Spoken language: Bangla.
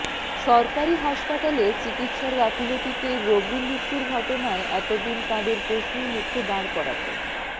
সরকারি হাসপাতালে চিকিৎসার গাফিলতিতে রোগী মৃত্যুর ঘটনায় এত দিন তাঁদের প্রশ্নের মুখে দাঁড় করাতেন